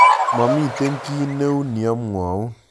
Momiten kit neu neomwoun